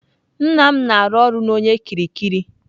Nna m na-arụ ọrụ na onye kiriki.